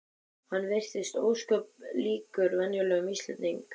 Hann virtist ósköp líkur venjulegum Íslendingi.